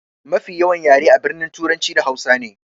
Mafi yawan yare a birni turanci da hausa ne.